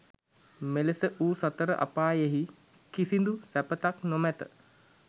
මෙලෙස වූ සතර අපායෙහි කිසිදු සැපතක් නොමැත.